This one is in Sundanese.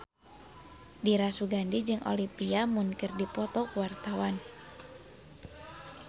Dira Sugandi jeung Olivia Munn keur dipoto ku wartawan